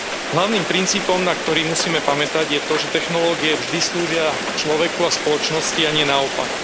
Hlavným princípom, na ktorý musíme pamätať, je to, že technológie vždy slúžia človeku a spoločnosti a nie naopak.